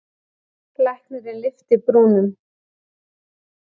Læknirinn lyfti brúnum.